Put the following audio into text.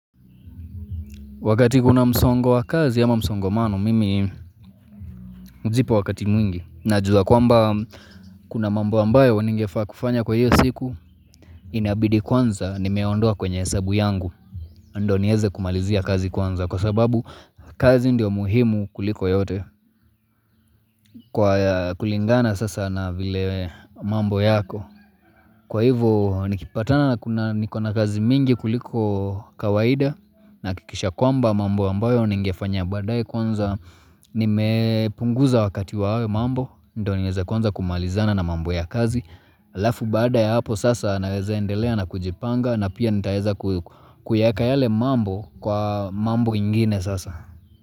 Wakati kuna msongo wa kazi ama msongomano mimi hujipa wakati mwingi najua kwamba kuna mambo ambayo ningefaa kufanya kwa hiyo siku inabidi kwanza nimeondoa kwenye hesabu yangu ndio nieze kumalizia kazi kwanza kwa sababu kazi ndio muhimu kuliko yote kwa kulingana sasa na vile mambo yako. Kwa hivo nikipatana na kuna niko na kazi mingi kuliko kawaida nahakikisha kwamba mambo ambayo ningefanya baadae kwanza nimepunguza wakati wa mambo. Ndio nieze kwanza kumalizana na mambo ya kazi. Alafu baada ya hapo sasa naweza endelea na kujipanga na pia nitaeza kuyaeka yale mambo kwa mambo ingine sasa.